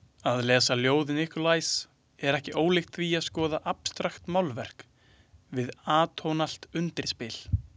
Að lesa ljóð Nikolajs er ekki ólíkt því að skoða abstraktmálverk við atónalt undirspil.